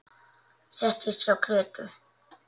Settist hjá Grétu.